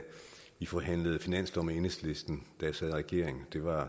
vi forhandlede finanslov med enhedslisten da jeg sad i regering det var